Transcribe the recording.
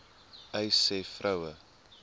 uys sê vroue